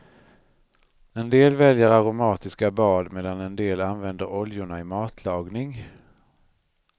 En del väljer aromatiska bad, medan en del använder oljorna i matlagning.